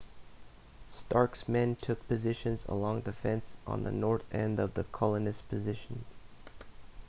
stark's men took positions along the fence on the north end of the colonist's position